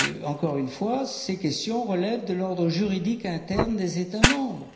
Encore une fois, ces questions relèvent de l'ordre juridique interne des États membres.